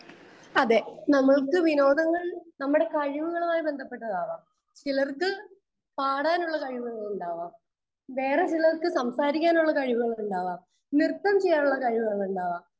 Speaker 2 അതെ. നമ്മൾക്ക് വിനോദങ്ങൾ നമ്മുടെ കഴിവുകളുമായി ബന്ധപ്പെട്ടതാകാം. ചിലർക്ക് പാടാനുള്ള കഴിവുകൾ ഉണ്ടാവാം. വേറെ ചിലർക്ക് സംസാരിക്കാനുള്ള കഴിവുകൾ ഉണ്ടാവാം. നൃത്തം ചെയ്യാനുള്ള കഴിവുകൾ ഉണ്ടാവാം.